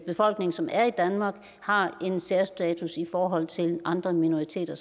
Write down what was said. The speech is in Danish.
befolkning som er i danmark har en særstatus i forhold til andre minoriteter